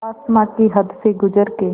आसमां की हद से गुज़र के